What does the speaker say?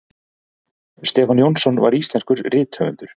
stefán jónsson var íslenskur rithöfundur